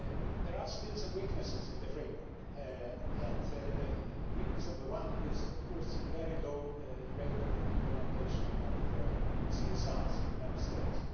There are still some weaknesses in the framework, and weakness number one is of course the very low rate of implementation of CSRs in Member States.